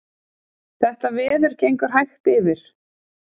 Þetta veður gengur hægt yfir